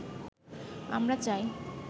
আমরা চাই